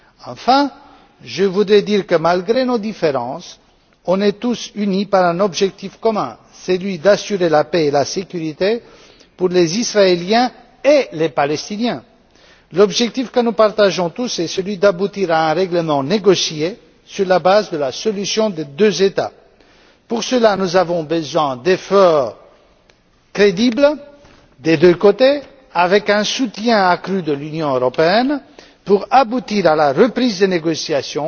Enfin, je voudrais dire que, malgré nos différences, nous sommes tous unis par un objectif commun, celui d'assurer la paix et la sécurité pour les Israéliens et les Palestiniens. L'objectif que nous partageons tous est celui d'aboutir à un règlement négocié sur la base de la solution des deux États. Pour cela, nous avons besoin d'efforts crédibles des deux côtés avec un soutien accru de l'Union européenne pour aboutir à la reprise des négociations